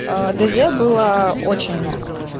аа дз было очень много